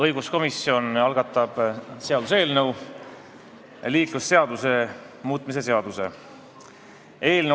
Õiguskomisjon algatab liiklusseaduse muutmise seaduse eelnõu.